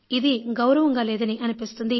ఇది గౌరవంగా లేదని అనిపిస్తుంది